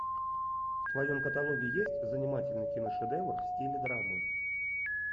в твоем каталоге есть занимательный киношедевр в стиле драмы